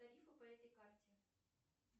тарифы по этой карте